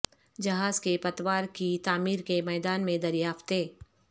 جہاز کے پتوار کی تعمیر کے میدان میں دریافتیں